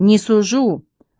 не сужу